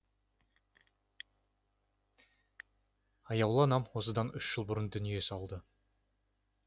аяулы анам осыдан үш жыл бұрын дүние салды